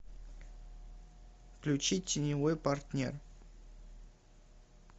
включи теневой партнер